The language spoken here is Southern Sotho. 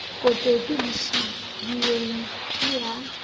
kotopi le sebuweng ke ya